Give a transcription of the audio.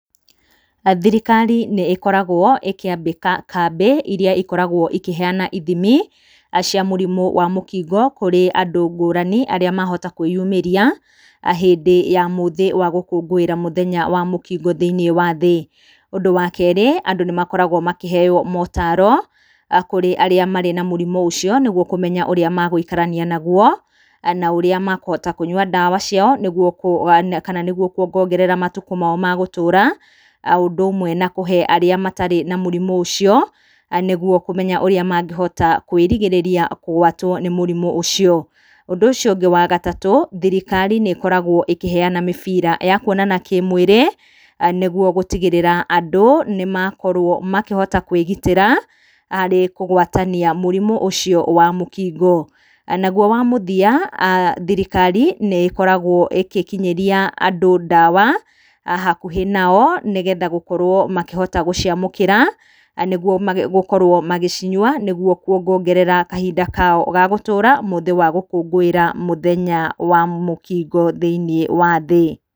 Thirikari nĩĩkoragwo ĩkĩambĩka kambĩ iria ikoragwo ikĩheyana ithimi cia mũrimũ wa mũkingo kũrĩ andũ ngũrani, arĩa mahota kwĩyumĩria hĩndĩ ya mũthĩ wa gũkũngũĩra mũthenya wa mũkingo thĩiniĩ wa thĩ. Ũndũ wa kerĩ, andũ nĩmakoragwo makĩheyo motaro kũrĩ arĩa marĩ na mũrimũ ũcio nĩguo kũmenya ũrĩa magũikarania naguo na ũrĩa makuhota kũnyua ndawa ciao nĩguo kuongongerera matuko mao ma gũtũra. O ũndũ ũmwe na kũhe arĩa matarĩ na mũrimũ ũcio, nĩguo mamenye ũrĩa mangĩhota kwĩrigĩrĩria kũgwatwo nĩ mũrimũ ũcio. Ũndũ ũcio ũngĩ wa gatatũ, thirikari nĩkoragwo ĩkĩheyana mĩbira ya kuonana kĩmwĩrĩ, nĩguo gũtigĩrĩra andũ nĩmakorwo makĩhota kwĩgitĩra harĩ kũgwatania mũrimũ ũcio wa mũkingo. Naguo wa mũthia, thirikari nĩkoragwo ĩgĩkinyĩria andũ ndawa hakuhĩ nao, nĩgetha gũkorwo makĩhota gũciamũkĩra nĩguo gũkorwo magĩcinyua, nĩguo kuongongerera kahinda kao ga gũtũra mũthĩ wa gũkũngũĩra mũthenya wa mũkingo thĩiniĩ wa thĩ.